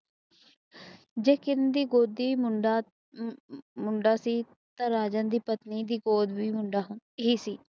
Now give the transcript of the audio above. ਜਦੋ ਕਿਰਨ ਦੀ ਗੋਦੀ ਮੁੰਡਾ ਸੀ ਤਾ ਰਾਜਾਨ ਦੀ ਪਤਨੀ ਦੀ ਹੋਣਾ ਕੇ ਸੀ